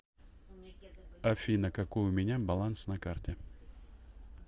афина какой у меня баланс на карте